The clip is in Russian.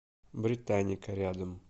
британника рядом